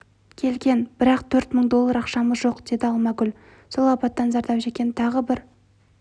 келген бірақ төрт мың доллар ақшамыз жоқ деді алмагүл сол апаттан зардап шеккен тағы бір